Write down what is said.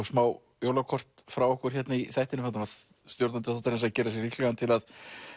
smá jólakort frá okkur hérna í þættinum þarna var stjórnandi þáttarins að gera sig líklegan til að